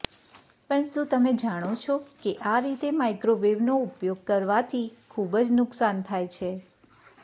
પણ શું તમે જાણો છો કે આ રીતે માઈક્રોવેવનો ઉપયોગ કરવાથી ખુબજ નુકસાન થાય છે